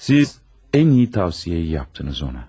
Siz ən iyi tövsiyeyi yaptınız ona.